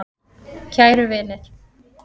Kæru vinir.